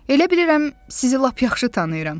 Elə bilirəm sizi lap yaxşı tanıyıram.